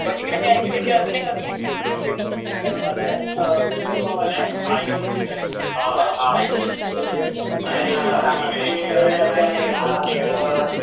पण मी तिकडे ऐकलंय की अजून एक अजून एक मिसळवाला आहे मिसळपाव वाला आहे, आय लोव्ह मिसळ